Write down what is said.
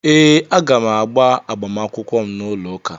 Ee, aga m agba agbamakwụkwọ m n'ụlọụka.